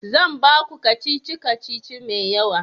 zan baku kacici-kacici mai wuya